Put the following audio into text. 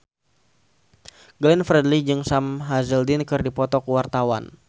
Glenn Fredly jeung Sam Hazeldine keur dipoto ku wartawan